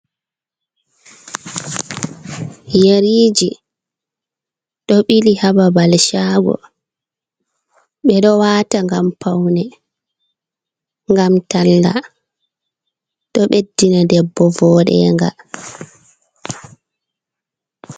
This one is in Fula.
Yariiji ɗo ɓili ha babal shago, ɓe ɗo waata ngam paune ngam talla, ɗo ɓeddina debbo vodenga.